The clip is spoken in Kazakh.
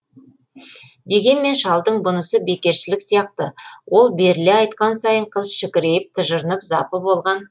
дегенмен шалдың бұнысы бекершілік сияқты ол беріле айтқан сайын қыз шікірейіп тыжырынып запы болған